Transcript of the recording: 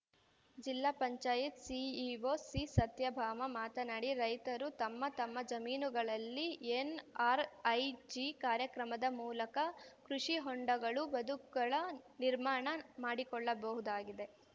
ಜಿಲ್ಲಾ ಪಂಚಾಯತ್ ಸಿಇಒ ಸಿಸತ್ಯಭಾಮ ಮಾತನಾಡಿ ರೈತರು ತಮ್ಮ ತಮ್ಮ ಜಮೀನುಗಳಲ್ಲಿ ಎನ್‌ಆರ್‌ಐಜಿ ಕಾರ್ಯಕ್ರಮದ ಮೂಲಕ ಕೃಷಿ ಹೊಂಡಗಳು ಬದುಗಳ ನಿರ್ಮಾಣ ಮಾಡಿಕೊಳ್ಳಬಹುದಾಗಿದೆ